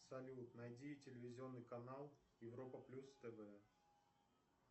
салют найди телевизионный канал европа плюс тв